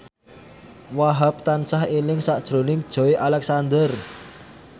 Wahhab tansah eling sakjroning Joey Alexander